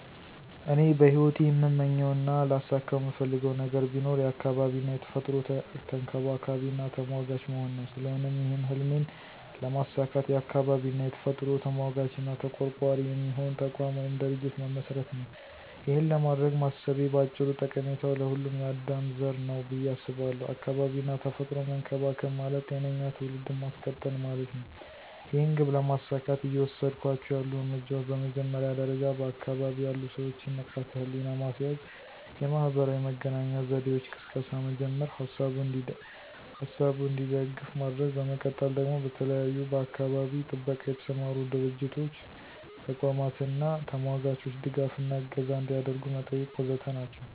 እኔ በሂወቴ እምመኘው እና ላሳከው እምፈልገው ነገር ቢኖር የአካባቢ እና የተፈጥሮ ተንከባካቢና ተሟጋች መሆን ነው። ስለሆነም ይህን ህልሜን ለማሳካት የአካባቢ እና የተፈጥሮ ተሟጋች እና ተቆርቋሪ የሚሆን ተቋም ወይም ድርጅት መመስረት ነው። ይኸን ለማድረግ ማሰቤ ባጭሩ ጠቀሜታው ለሁሉም የአዳም ዘር ነው ብየ አስባለው። አካባቢ እና ተፈጥሮን መንከባከብ ማለት ጤነኛ ትውልድን ማስቀጠል ማለት ነው። ይህን ግብ ለማሳካት እየወሰድኳቸው ያሉ እርምጃዎች በመጀመሪያ ደረጃ በአካባቢ ያሉ ሰወችን ንቃተ ህሊና ማስያዝ፣ የማህበራዊ መገናኛ ዘዴወች ቅስቀሳ መጀመር፥ ሀሳቡ እንዲደግፍ ማድረግ፤ በመቀጠል ደግሞ በተለያዩ በአካባቢ ጥበቃ የተሰማሩ ድርቶች፥ ተቋማት አና ተሟጋቾች ድጋፍ እና እገዛ አንዲያደርጉ መጠየቅ ወዘተ ናቸው።